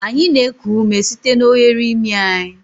Anyị na-eku ume site n'oghere imi anyị.